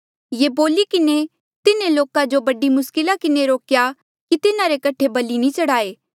ये बोली किन्हें भी तिन्हें लोका जो बड़ी मुस्किला किन्हें रोकेया कि तिन्हारे कठे बलि नी चढ़ाये